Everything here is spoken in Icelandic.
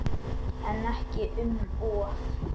En ekki um of.